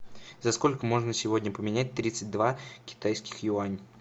за сколько можно сегодня поменять тридцать два китайских юани